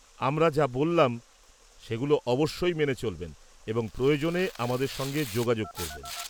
-আমরা যা বললাম সেগুলো অবশ্যই মেনে চলবেন এবং প্রয়োজনে আমাদের সঙ্গে যোগাযোগ করবেন।